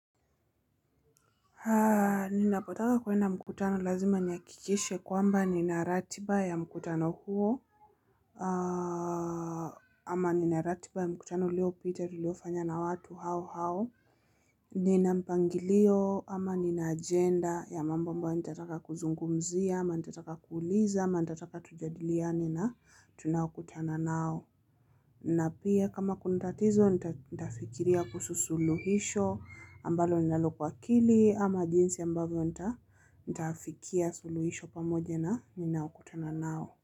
Ninapotaka kuenda mkutano lazima nihakikishe kwamba nina ratiba ya mkutano huo ama nina ratiba ya mkutano uliopita tuliofanya na watu hao hao nina mpangilio ama nina ajenda ya mambo ambayo nitataka kuzungumzia ama nitataka kuuliza ama nitataka tujadiliane na tunaokutana nao. Na pia kama kuna tatizo nitafikiria kuhusu suluhisho ambalo ninalo kwa akili ama jinsi ambavyo nitayafikia suluhisho pamoja na ninaokutana nao.